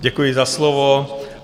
Děkuji za slovo.